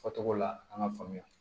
Fɔ cogo la an ka faamuya